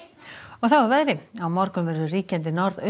þá að veðri á morgun verður ríkjandi